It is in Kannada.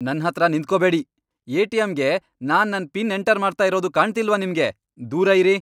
ನನ್ಹತ್ರ ನಿಂತ್ಕೊಬೇಡಿ! ಎ.ಟಿ.ಎಂ.ಗೆ ನಾನ್ ನನ್ ಪಿನ್ ಎಂಟರ್ ಮಾಡ್ತಾ ಇರೋದು ಕಾಣ್ತಿಲ್ವಾ ನಿಮ್ಗೆ?! ದೂರ ಇರಿ.